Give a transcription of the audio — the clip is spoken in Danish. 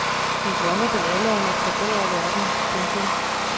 Vi drømmer vel alle om at forbedre verden. punktum